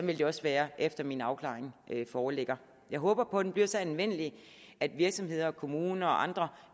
vil det også være efter min afklaring foreligger jeg håber på at den bliver så anvendelig at virksomheder kommuner og andre